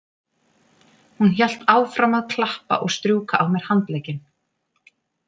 Hún hélt áfram að klappa og strjúka á mér handlegginn.